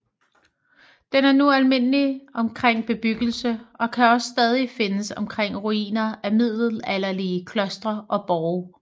Den er nu almindelig omkring bebyggelse og kan også stadig findes omkring ruiner af middelalderlige klostre og borge